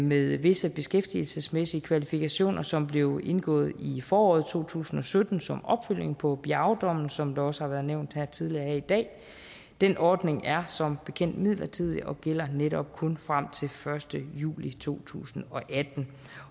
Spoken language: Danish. med visse beskæftigelsesmæssige kvalifikationer som blev indgået i foråret to tusind og sytten som opfølgning på biao dommen som det også har været nævnt tidligere her i dag den ordning er som bekendt midlertidig og gælder netop kun frem til første juli to tusind og atten